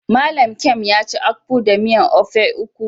Mallam Nkem yaci akpu da miyan ofe akwu.